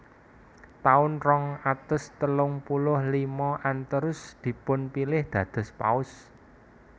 Taun rong atus telung puluh lima Anterus dipunpilih dados Paus